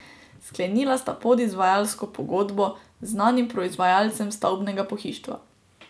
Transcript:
Sklenila sta podizvajalsko pogodbo z znanim proizvajalcem stavbnega pohištva.